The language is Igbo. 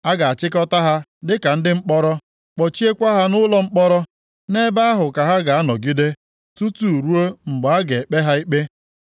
A ga-achịkọta ha dịka ndị mkpọrọ, kpọchiekwa ha nʼụlọ mkpọrọ nʼebe ahụ ka ha ga-anọgide, tutu ruo mgbe a ga-ekpe ha ikpe.